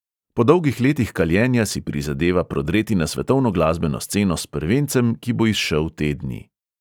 Po dolgih letih kaljenja si prizadeva prodreti na svetovno glasbeno sceno s prvencem, ki bo izšel te dni.